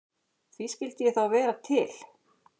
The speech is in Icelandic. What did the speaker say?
Því skyldi ég þá vera til?